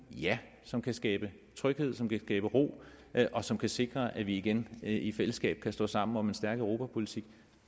som kan skabe tryghed som kan skabe ro og som kan sikre at vi igen i fællesskab kan stå sammen om en stærk europapolitik